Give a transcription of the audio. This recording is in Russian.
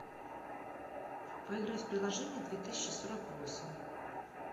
поиграть в приложение две тысячи сорок восемь